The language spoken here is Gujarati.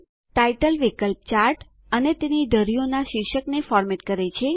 ટાઇટલ વિકલ્પ ચાર્ટ અને તેની ધરીઓનાં શીર્ષકને ફોર્મેટ કરે છે